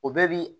O bɛɛ bi